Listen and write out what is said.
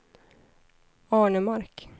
Arnemark